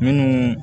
Minnu